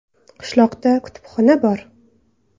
Qishloqda kutubxona bor.